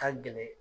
Ka gɛlɛn